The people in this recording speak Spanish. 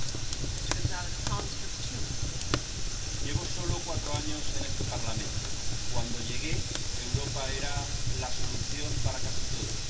Señora presidenta, llevo solo cuatro años en este Parlamento. Cuando llegué, Europa era la solución para casi todos.